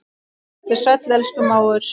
Vertu sæll, elsku mágur.